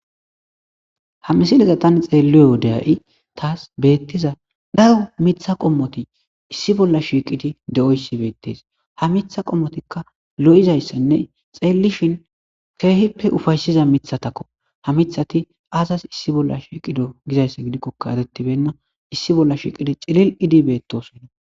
Ha misiliza tani xeelluye wodeya7i taas beettiza garo mitha qommoti issi bolla shiiqidi de7oyssi beettes ha mitha qommotikka lo7izayssanne xeellishin keehippe ufaysiza mithatakko ha mithati aasas issi bolla shiiqido gizayssa gidikkoka erettibenna issi bolla shiiqidi cilil idi beettosonna.